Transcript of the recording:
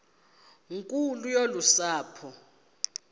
nkulu yolu sapho